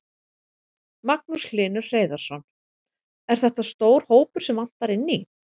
Magnús Hlynur Hreiðarsson: Er þetta stór hópur sem vantar inn í?